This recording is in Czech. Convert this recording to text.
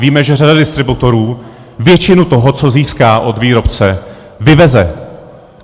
Víme, že řada distributorů většinu toho, co získá od výrobce, vyveze.